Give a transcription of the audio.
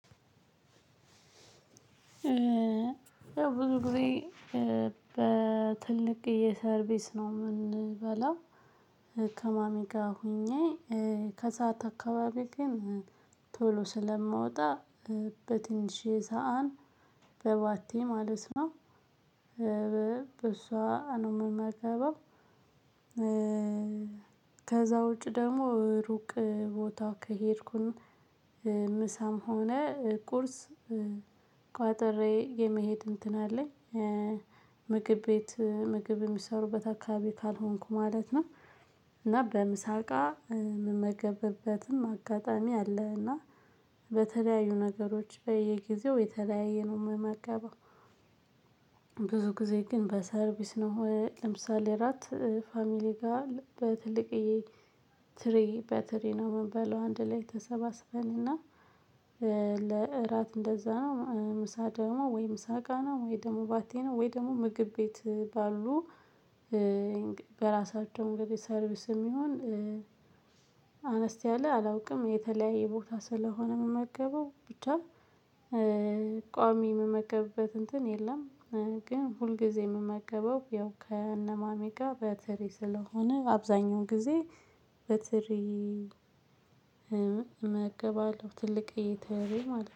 ያው ብዙ ጊዜ በትልቅ ሰርቪስ ነው የምንበላው ከማሚ ጋር ሆኜ ከሰአት አካባቢ ግን ቶሎ ስለማወጣ በትንሽ ሰዓት በባቴ ማለት ነው። በሷ ነው የምመገበው። ከዛ ውጪ ደግሞ ሩቅ ቦታ ከሄድኩኝ ምሳም ሆነ ቁርስ ቋጠሬ የመሄድ እንትን አለኝ። ምግብ ቤት ምግብ የሚሰሩበት አካባቢ ካልሆንኩ ማለት ነው። እና በምሳቅ ምመገብበትም አጋጣሚ አለ አለና በተለያዩ ነገሮች በየጊዜው የተለያየ ነው የማገባው። ብዙ ጊዜ ግን በሰርቪስ ነው ለምሳሌ ራት ፋሚሊ ጋር በትልቅዬ ትሪ በትሪ ነው የምንበለው አንድ ላይ ተሰባስበንና። ለእራት እንደዛ ነው ምሳ ደግሞ ወይ ምሳቃ ነው ወይ ደግሞ ባቴ ነው ወይ ደግሞ ምግብ ቤት ባሉ። በራሳቸው እንግዲህ ሰርቪስም ይሁን አነስ ያለ አላውቅም የተለያየ ቦታ ስለሆነ የምመገበው ብቻ። ያው ብዙ ጊዜ በትልቅዬ የሰርቪስ ነው። የምንበላው ከማሚ ጋር ሆኜ